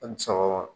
An ni sɔgɔma